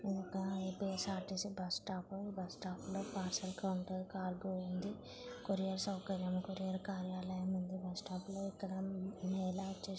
ఇధి ఒక ర్ A P S R T C bus స్టాప్ఆ ప్ ఈ బస్స్టాప్లో పార్సెల్ కౌంటర్ కార్గో ఉంది. కొరియర్ సౌకర్యం కొరియార్ కార్యాలయం ఉంది బస్ స్టాప్ లో.